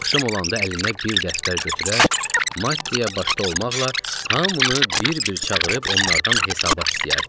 Axşam olanda əlində bir dəftər götürər, Mattiyaya başda olmaqla hamını bir-bir çağırıb onlardan hesabat istəyərdi.